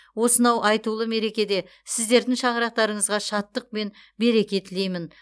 осынау айтулы мерекеде сіздердің шаңырақтарыңызға шаттық пен береке тілеймін